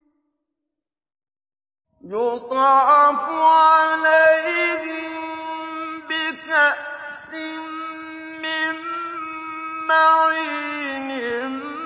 يُطَافُ عَلَيْهِم بِكَأْسٍ مِّن مَّعِينٍ